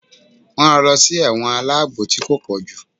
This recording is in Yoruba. won ran lọ sí ẹ̀wọ̀n aláàbò tí ko pojú.